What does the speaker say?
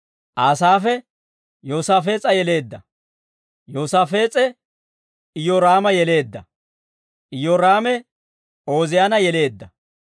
Aasaafe, Yoosaafees'a yeleedda; Yoosaafees'e, Iyyooraama yeleedda; Iyyooraame, Ooziyaana yeleedda.